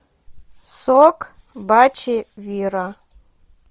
сок бачи вира